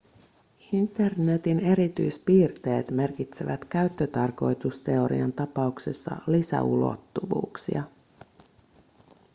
internetin erityispiirteet merkitsevät käyttötarkoitusteorian tapauksessa lisäulottuvuuksia